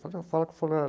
Fala com o fulano.